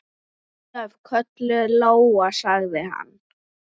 Ólöf, kölluð Lóa, sagði hann.